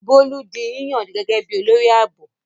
Bólú di yíyàn gẹ́gẹ́ bí i olórí ààbò.